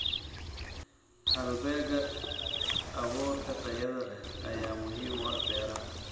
Halbeegga abuurka tayada leh ayaa muhiim u ah beeraha.